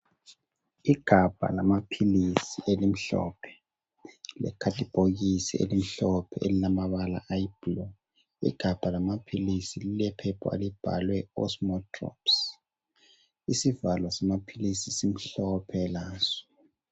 Igabha lamaphilisi elimhlophe, lekhathibhokisi elimhlophe elilamabala ayi blue, ighabha lamaphilisi lilephepha elibhalwe osmodrops, isivalo samaphilisi simhlophe laso